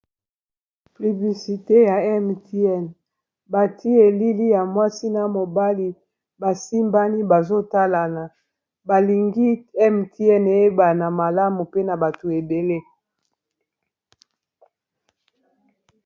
pubiisite ya mtn bati elili ya mwasi na mobali basimbani bazotalana balingi mtn eyebana malamu pena bato ebele